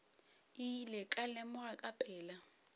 ile ka lemoga ka pela